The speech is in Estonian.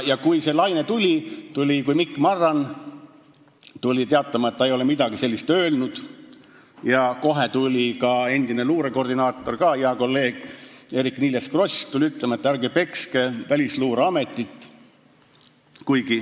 Ja kui see laine tuli, kui Mikk Marran teatas, et ta ei ole midagi sellist öelnud, siis ütles kohe ka endine luurekoordinaator, hea kolleeg Eerik-Niiles Kross, et ärge pekske Välisluureametit.